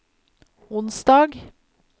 onsdag